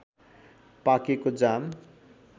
पाकेको जाम